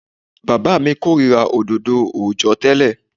Bàbá mi kórìíra òdodo òòjọ́ tẹ́lẹ̀.